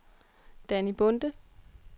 Danny Bonde